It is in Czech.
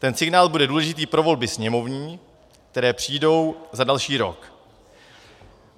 Ten signál bude důležitý pro volby sněmovní, které přijdou za další rok.